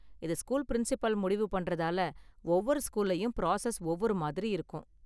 இதை school principal முடிவு பண்றதால ஒவ்வொரு ஸ்கூல்லயும் பிராசஸ் ஒவ்வொரு மாதிரி இருக்கும்.